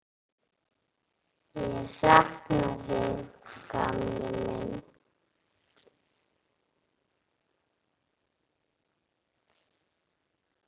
Ég sakna þín, gamli minn.